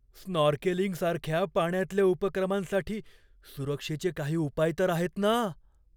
स्नॉर्केलिंगसारख्या पाण्यातल्या उपक्रमांसाठी सुरक्षेचे काही उपाय तर आहेत ना ?